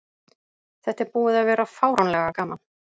Þetta er búið að vera fáránlega gaman.